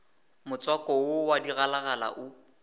motswako wo wa digalagala o